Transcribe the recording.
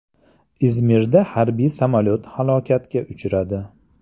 Izmirda harbiy samolyot halokatga uchradi.